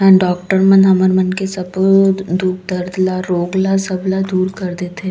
अऊ डॉक्टर मन हमर मन के सबो दुःख दर्द ल रोग ल सबला दूर कर देथे।